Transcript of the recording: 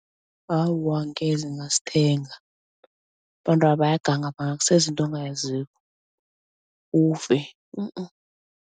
Awa angeze ngasithenga. Abantwaba bayaganga bangakuseza into ongayaziko, ufe